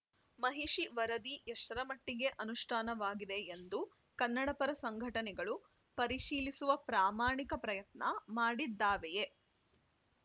ಮಹಿಷಿ ವರದಿ ಎಷ್ಟರಮಟ್ಟಿಗೆ ಅನುಷ್ಠಾನವಾಗಿದೆ ಎಂದು ಕನ್ನಡಪರ ಸಂಘಟನೆಗಳು ಪರಿಶೀಲಿಸುವ ಪ್ರಾಮಾಣಿಕ ಪ್ರಯತ್ನ ಮಾಡಿದ್ದಾವೆಯೇ